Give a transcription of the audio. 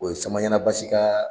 O ye Samaɲana Basi ka